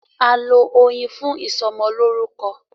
A lọ Oyin fún ìsọmọlórúkọ.